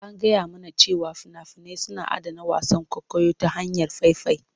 An gaya mana cewa fina-finai suna adana wasan kwaikwayo ta hanyar faifai.